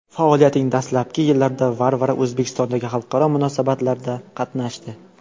Faoliyatining dastlabki yillarida Varvara O‘zbekistondagi xalqaro musobaqalarda qatnashdi.